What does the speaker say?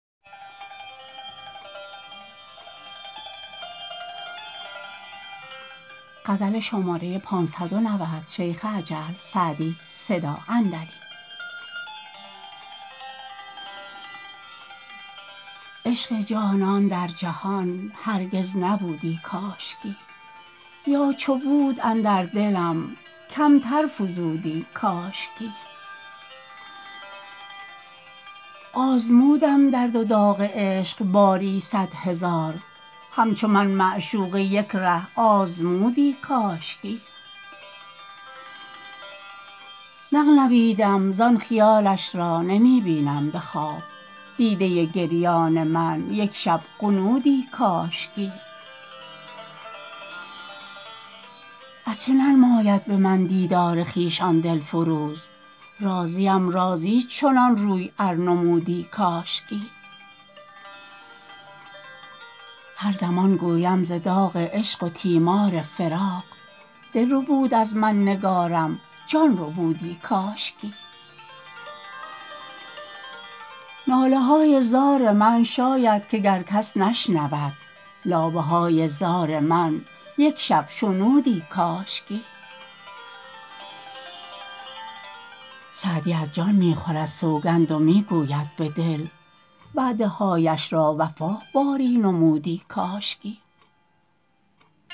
عشق جانان در جهان هرگز نبودی کاشکی یا چو بود اندر دلم کمتر فزودی کاشکی آزمودم درد و داغ عشق باری صد هزار همچو من معشوقه یک ره آزمودی کاشکی نغنویدم زان خیالش را نمی بینم به خواب دیده گریان من یک شب غنودی کاشکی از چه ننماید به من دیدار خویش آن دل فروز راضیم راضی چنان روی ار نمودی کاشکی هر زمان گویم ز داغ عشق و تیمار فراق دل ربود از من نگارم جان ربودی کاشکی ناله های زار من شاید که گر کس نشنود لابه های زار من یک شب شنودی کاشکی سعدی از جان می خورد سوگند و می گوید به دل وعده هایش را وفا باری نمودی کاشکی